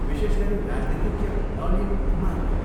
विशेष गरी राजनीतिज्ञ नलिन कुमारले।